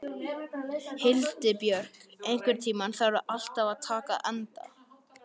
Hildibjörg, einhvern tímann þarf allt að taka enda.